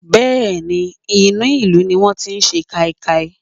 Bẹ́ẹ̀ ni, inú ìlú ní wọ́n ti sẹ káíkáí.